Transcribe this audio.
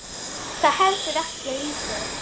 Það er heldur ekki lítið.